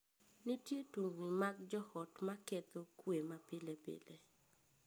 Nitie tungni mag joot ma ketho kwe ma pile pile.